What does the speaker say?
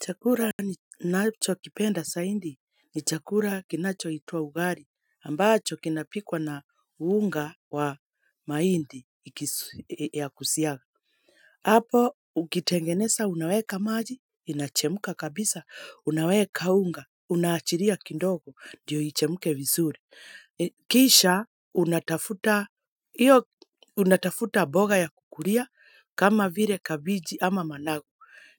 Chakula ninachokipenda zaidi, ni chakula kinachoitwa ugali, ambacho kinapikwa na unga wa mahindi ya kusiaga. Hapo, ukitengeneza, unaweka maji, inachemka kabisa, unaweka unga, unaachilia kidogo, ndio ichemke vizuri. Kisha, unatafuta mboga ya kukulia, kama vile kabiji ama managu.